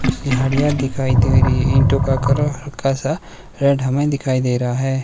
कुछ झाड़ियां दिखाई दे री है ईंटो का करह हल्का सा रेड हमें दिखाई दे रा है।